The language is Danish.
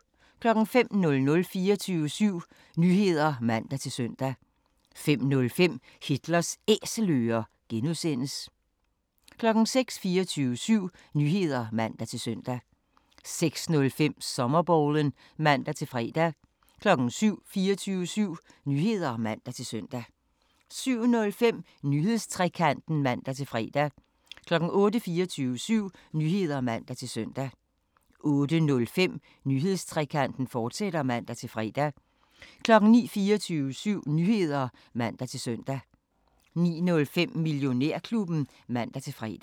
05:00: 24syv Nyheder (man-søn) 05:05: Hitlers Æselører (G) 06:00: 24syv Nyheder (man-søn) 06:05: Sommerbowlen (man-fre) 07:00: 24syv Nyheder (man-søn) 07:05: Nyhedstrekanten (man-fre) 08:00: 24syv Nyheder (man-søn) 08:05: Nyhedstrekanten, fortsat (man-fre) 09:00: 24syv Nyheder (man-søn) 09:05: Millionærklubben (man-fre)